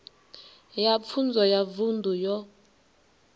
ya pfunzo ya vunḓu yo